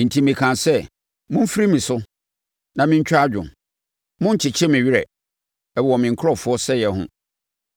Enti mekaa sɛ, “Momfiri me so na mentwa adwo. Monnkyekye me werɛ wɔ me nkurɔfoɔ sɛeɛ ho.”